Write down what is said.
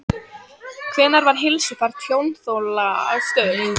Hvenær var heilsufar tjónþola stöðugt?